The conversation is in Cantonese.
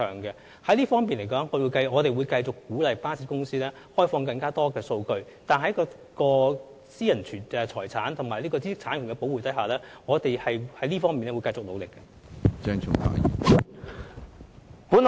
在這方面，我們會繼續鼓勵巴士公司開放更多數據，並在保護私人財產和知識產權的規定下，繼續作出努力。